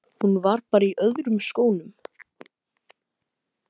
Hún var bara í öðrum skónum.